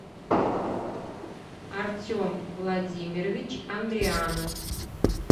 артем владимирович андрианов